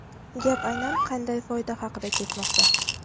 Gap aynan qanday foyda haqida ketmoqda?